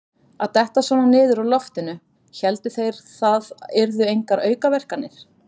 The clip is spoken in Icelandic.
Að detta svona niður úr loftinu: héldu þeir það yrðu engar aukaverkanir?